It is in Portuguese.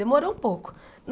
Demorou um pouco.